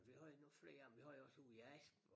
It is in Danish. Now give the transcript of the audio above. Vi har jo nogen flere af dem vi har også ude i Asp og